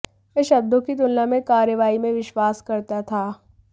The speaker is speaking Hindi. वह शब्दों की तुलना में कार्रवाई में विश्वास करता था